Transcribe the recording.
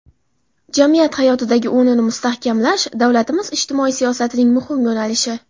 jamiyat hayotidagi o‘rnini mustahkamlash davlatimiz ijtimoiy siyosatining muhim yo‘nalishi.